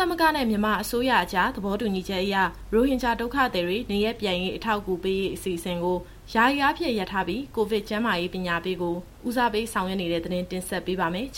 သမဂ္ဂနဲ့ မြန်မာအစိုးရအကြားသဘောတူညီချက်အရ ရိုဟင်ဂျာ ဒုက္ခသည်တွေ နေရပ်ပြန်ရေး အထောက်အကူပေးရေး အစီအစဉ်ကို ယာယီအားဖြင့် ရပ်ထားပြီး၊ ကိုဗစ် ကျန်းမာရေးပညာပေးကို ဦးစားပေးဆောင်ရွက်နေတဲ့သတင်းကို မစုစုက တင်ဆက်ပေးပါမယ်။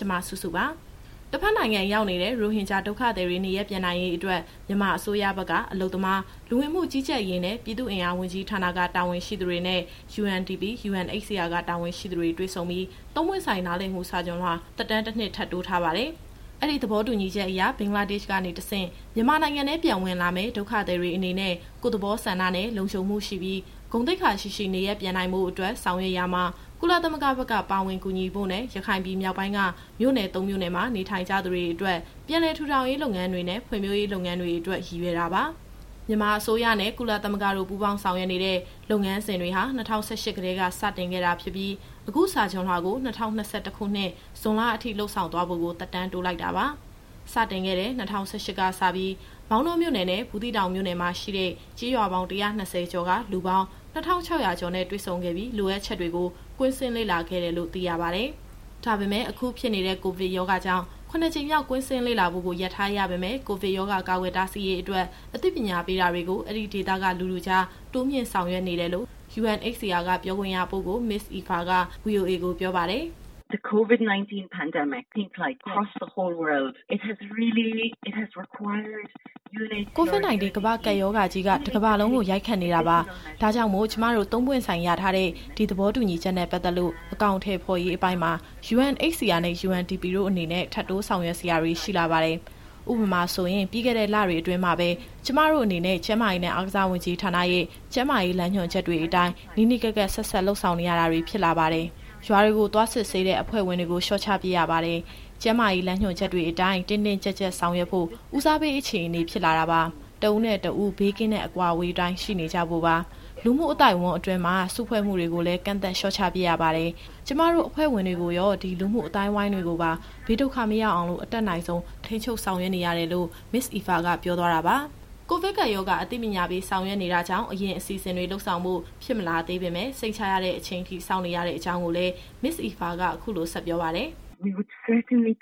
တဘက်နိုင်ငံရောက်နေတဲ့ ရိုဟင်ဂျာဒုက္ခသည်တွေ နေရပ်ပြန်ရေးအတွက် မြန်မာအစိုးရဘက်က အလုပ်သမား၊ လူဝင်မှုကြီးကြပ်ရေးနဲ့ ပြည်သူ့အင်အားဝန်ကြီးဌာနက တာဝန်ရှိသူတွေနဲ့UNDP ၊UNHCR ကတာဝန်ရှိသူတွေ တွေ့ဆုံပြီး သုံးပွင့်ဆိုင်နားလည်မှု စာချွန်လွှာသက်တမ်းတနှစ်ထပ်တိုးထားပါတယ်။ အဲဒီသဘောတူညီချက်အရဘင်္ဂလားဒေ့ရှ်ကနေတဆင့် မြန်မာနိုင်ငံထဲပြန်ဝင်လာမယ့် ဒုက္ခသည်တွေအနေနဲ့ ကိုယ့်သဘောဆန္ဒနဲ့ လုံခြုံမှုရှိပြီး ဂုဏ်သိက္ခာရှိရှိ နေရပ်ပြန်နိုင်ဖို့အတွက် ဆောင်ရွက်ရာမှာ ကုလသမဂ္ဂဘက်က ပါဝင်ကူညီဖို့နဲ့ ရခိုင်ပြည်မြောက်ပိုင်းက မြို့နယ်သုံးမြို့နယ်မှာ နေထိုင်ကြတဲ့သူတွေအတွက် ပြန်လည်ထူထောင်ရေးလုပ်ငန်းတွေနဲ့ ဖွံ့ဖြိုးတိုးတက်ရေး လုပ်ငန်းတွေအတွက် ရည်ရွယ်တာပါ။ မြန်မာအစိုးရနဲ့ ကုလသမဂ္ဂတို့ပူးပေါင်းဆောင်ရွက်နေတဲ့ လုပ်ငန်းစဉ်တွေဟာ ၂၀၁၈ ကတည်းကစတင်ခဲ့တာဖြစ်ပြီး၊ အခုစာချွန်လွှာကို ၂၀၂၁ခုနှစ်၊ ဇွန်လအထိလုပ်ဆောင်သွားဖို့ကို သက်တမ်းတိုးလိုက်တာပါ။ စတင်ခဲ့တဲ့ ၂၀၁၈ ကစပြီး မောင်တောမြို့နယ်နဲ့ ဘူးသီးတောင်မြို့နယ်မှာရှိတဲ့ ကျေးရွာပေါင်း ၁၂၀ကျော်က လူပေါင်း ၂၆၀၀ ကျော်နဲ့ တွေ့ဆုံခဲ့ပြီး လိုအပ်ချက်တွေကို ကွင်းဆင်းလေ့လာခဲ့တယ်လို့ သိရပါတယ်။ ဒါပေမယ့် အခုဖြစ်နေတဲ့ ကိုဗစ်ကပ်ရောဂါကြောင့် ၇ကြိမ်မြောက် ကွင်းဆင်းလေ့လာဖို့ကို ရပ်ထားရပေမယ့် ကိုဗစ်ရောဂါကာကွယ်တားဆီးရေးအတွက် အသိပညာပေးတာတွေကို အဲဒီဒေသက လူထုကြား တိုးမြှင့်ဆောင်ရွက်နေတယ်လို့ UNHCR က ပြောခွင့်ရပုဂ္ဂိုလ် Ms. Aoife က VOA ကိုပြောပါတယ်။ “COVID-19 ကမ္ဘာကပ်ရောဂါကြီး တကမ္ဘာလုံးကို ရိုက်ခတ်နေတာပါ။ ဒါကြောင့် ကျမတို့ သုံးပွင့်ဆိုင်ရထားတဲ့ ဒီသဘောတူညီချက်နဲ့ပတ်သက်လို့ အကောင်အထည်ဖော်ရေးပိုင်းမှာUNHCR နဲ့ UNDP တို့အနေနဲ့ ထပ်တိုးဆောင်ရွက်စရာတွေရှိလာပါတယ်။ ဥပမာဆိုရင် ပြီးခဲ့တဲ့လတွေအတွင်းမှာပဲ ကျမတို့အနေနဲ့ ကျန်းမာရေးနဲ့အားကစားဝန်ကြီးဌာနရဲ့ ကျန်းမာရေးလမ်းညွှန်ချက်အတိုင်း နီးနီးကပ်ကပ် ဆက်စပ်လုပ်ကိုင်ရတာတွေဖြစ်လာပါတယ်။ ရွာတွေကို သွားစစ်ဆေးရတဲ့ အဖွဲ့ဝင်တွေကို လျှော့ချပစ်ရပါတယ်။ ကျန်းမာရေးလမ်းညွှန်ချက်တွေအတိုင်း တင်းတင်းကြပ်ကြပ်ဆောင်ရွက်ဖို့ ဦးစားပေး အခြေအနေဖြစ်လာပါတယ်။ တဦးနဲ့တဦး ဘေးကင်းတဲ့အကွာအဝေးအတိုင်းရှိနေကြဖို့ပါ။ လူမှုအသိုက်အဝိုင်းအတွင်း စုဖွဲ့မှုတွေကိုလည်း ကန့်သတ် လျှော့ချ ပစ်ရပါတယ်။ ကျမတို့ အဖွဲ့ဝင်တွေကိုရော လူမှုအဝန်းအဝိုင်းတွေကိုပါ ဘေးဒုက္ခမရောက်အောင် အတတ်နိုင်ဆုံး ထိန်းချုပ်ဆောင်ရွက်ရတာပါ။” ကိုဗစ်ကပ်ရောဂါ အသိပညာပေးဆောင်ရွက်နေတာကြောင့် အရင်အစီအစဉ်တွေလုပ်ဆောင်ဖို့ ဖြစ်မလာသေးပေမယ့် စိတ်ချရတဲ့အချိန်အထိ စောင့်နေရတဲ့အကြောင်းကိုလည်း Ms. Aoife က အခုလို ဆက်ပြောပါတယ်။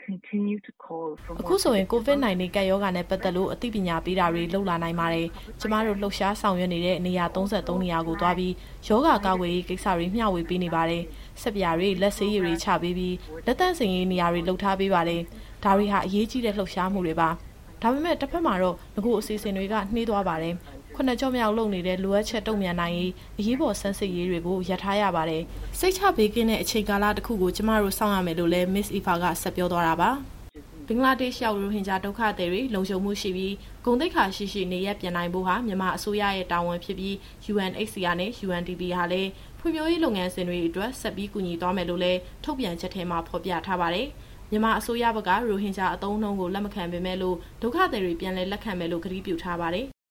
“အခုဆိုရင် COVID-19 ကပ်ရောဂါနဲ့ပတ်သက်လို့ အသိပညာပေးတာတွေကို လုပ်လာနိုင်ပါတယ်။ ကျမတို့ လှုပ်ရှားဆောင်ရွက်နေတဲ့ နေရာ ၃၃ နေရာကိုသွားပြီး ရောဂါကာကွယ်ရေးကိစ္စတွေ မျှဝေပေးနေပါတယ်။ ဆပ်ပြာတွေ လက်ဆေးရည်တွေချပေးပြီး လက်သန့်စင်ရေး နေရာတွေလုပ်ထားပေးပါတယ်။ ဒါတွေဟာ အရေးကြီးတဲ့လှုပ်ရှားမှုတွေပါ ။ ဒါပေမယ့် တဘက်မှာ နဂိုအစီအစဉ်တွေနှေးကွေးသွားပါတယ်။ ၇ကျော့မြောက်လုပ်နေတဲ့ လိုအပ်ချက်တုန့်ပြန်နိုင်ရေးအရေးပေါ် ဆန်းစစ်ရေးတွေကို ရပ်ထားရပါတယ်။ စိတ်ချဘေးကင်းတဲ့အချိန်ကာလတခုအထိ ကျမတို့ စောင့်ရပါမယ်။” ဘင်္ဂလားဒေ့ရှ်ရောက် ရိုဟင်ဂျာဒုက္ခသည်တွေ လုံခြုံမှုရှိပြီး ဂုဏ်သိက္ခာရှိရှိ နေရပ်ပြန်နိုင်ဖို့ဟာ မြန်မာအစိုးရရဲ့တာဝန်ဖြစ်ပြီး UNHCR နဲ့ UNDP ဟာလည်း ဖွံ့ဖြိုးရေးလုပ်ငန်းစဉ်တွေ အတွက် ဆက်ပြီးကူညီသွားမယ်လို့လည်း ထုတ်ပြန်ချက်ထဲမှာဖော်ပြထားပါတယ်။ မြန်မာအစိုးရဘက်က ရိုဟင်ဂျာအသုံးအနှုံးကို လက်မခံပေမယ့်လို့ ဒုက္ခသည်တွေ ပြန်လည်လက်ခံမယ်လို့ ကတိပြုထားပါတယ်။